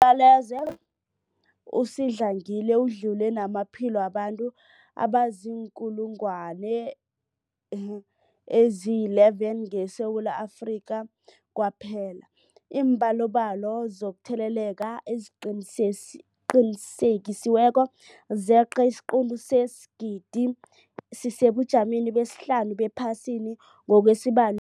Umbulalazwe usadlangile udlule namaphilo wabantu abaziinkulungwana ezi-11 ngeSewula Afrika kwaphela. Iimbalobalo zokutheleleka eziqinisekisiweko zeqe isiquntu sesigidi, sisesebujameni besihlanu ephasini ngokwesibalo